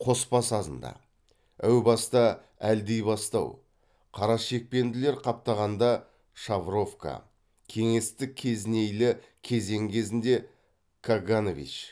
қоспа сазында әу баста әлдибастау қарашекпенділер қаптағанда шавровка кеңестік кезінейлі кезең кезінде каганович